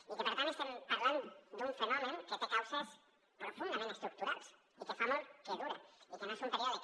i que per tant estem parlant d’un fenomen que té causes profundament estructurals i que fa molt que dura i que no és un període que